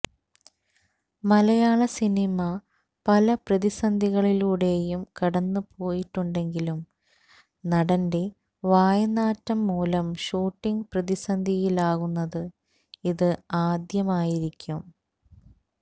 മലയാള സിനിമ പല പ്രതിസന്ധികളിലൂടെയും കടന്ന് പോയിട്ടുണ്ടെങ്കിലും നടന്റെ വായ്നാറ്റം മൂലം ഷൂട്ടിങ് പ്രതിസന്ധിയിലാകുന്നത് ഇത് ആദ്യമായിരിക്കും